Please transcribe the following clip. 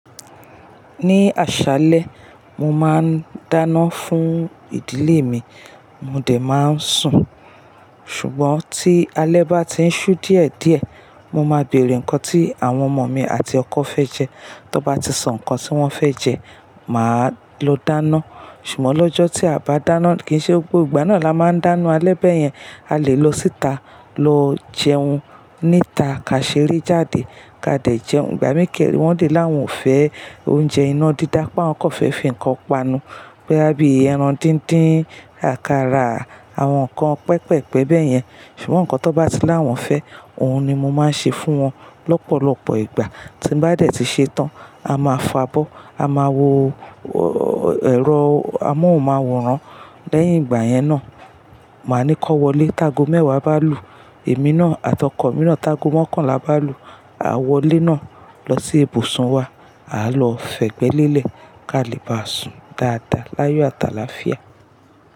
Ní àṣálẹ́ mo máa ń dáná fún ìdílé mi, mo dẹ̀ máa ń sùn. Ṣùgbọ́n tí alẹ́ bá ti ń ṣú díẹ̀ díẹ̀, mo máa bèèrè ǹkan tí àwọn ọmọ mi àti ọkọ fẹ́ jẹ, tó bá ti sọ ǹkan tí wọ́n fẹ́ jẹ, màá lọ dáná. Ṣùgbọ́n lọ́jọ́ tí a bá dáná kì í ṣe gbogbo ìgbà náà la máa ń dáná alẹ́ bẹ́ẹ̀ yẹn, a lè lọ síta lọ jẹun níta, ka ṣeré jáde, ka dẹ̀ jẹun. Ìgbà mí kẹre, wọ́n lè láwọn ò fẹ́ oúnjẹ iná dídá, pá awon kọ̀ fẹ́ fi ǹkan panu, boyá bí ẹran díndín, àkàrà, àwọn ǹkan pẹpẹ̀pẹ̀ bẹ́ẹ̀ yẹn. Ṣùgbọ́n ǹkan tó bá ti láwọn fẹ́, òun ni mo máa ń ṣe fún wọn lọ́pọ̀lọpọ̀ ìgbà. Tí bá dẹ̀ ti ṣe tán, a máa fàbọ̀, a máa wo ẹ̀rọ, amáouń máa wòran. Lẹ́yìn ìgbà yẹn náà, màá ni kó wọlé. Tago mẹ́wàá bá lù, èmi náà àti ọkọ̀ mì naa, tagọ mọ́kànlá bá lù, a wọlé náà lọ sí ibùsùn wa, àá lọ fẹ́ gbẹ́ lélẹ̀, ká lè bá sùn dáadáa láyọ àtàlàáfíà.